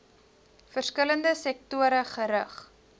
verskillende sektore gerig